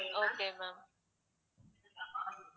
okay ma'am